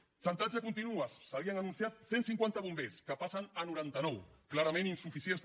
el xantatge continua s’havien anunciat cent cinquanta bombers que passen a noranta nou clarament insuficients també